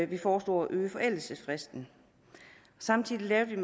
vi foreslog at øge forældelsesfristen samtidig lavede